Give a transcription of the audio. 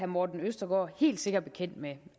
morten østergaard helt sikkert bekendt med